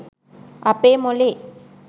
අපේ මොලේ